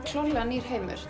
klárlega nýr heimur